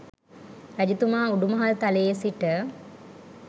රජතුමා උඩුමහල් තලයේ සිට